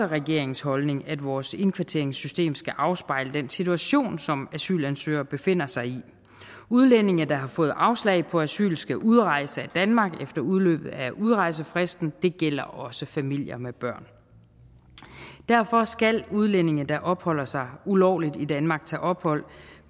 regeringens holdning at vores indkvarteringssystem skal afspejle den situation som asylansøgere befinder sig i udlændinge der har fået afslag på asyl skal udrejse af danmark efter udløbet af udrejsefristen og det gælder også familier med børn derfor skal udlændinge der opholder sig ulovligt i danmark tage ophold